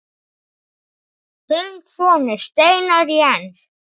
Þinn sonur, Steinar Jens.